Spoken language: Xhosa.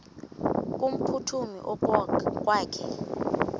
makevovike kumphuthumi okokwakhe